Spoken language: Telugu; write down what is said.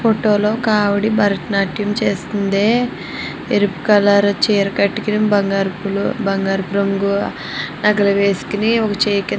ఫోటో లు ఒక ఆవిడ భరతనాట్యం చేస్తుంది. రెడ్ కలర్ చీర కట్టుకొని బంగారపు బంగారపు రంగు నగలు వేసుకుని ఒక చేయి కింద--